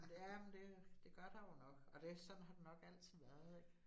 Ja, men det det gør der jo nok, og det sådan har det nok altid været ik